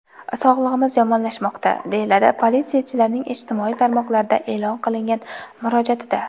Sog‘lig‘imiz yomonlashmoqda”, deyiladi politsiyachilarning ijtimoiy tarmoqlarda e’lon qilingan murojaatida.